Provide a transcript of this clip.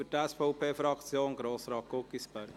Für die SVP-Fraktion: Grossrat Guggisberg.